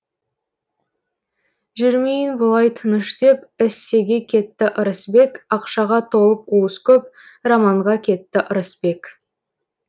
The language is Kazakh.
жүрмейін бұлай тыныш деп эссеге кетті ырысбек ақшаға толып уыс көп романға кетті ырысбек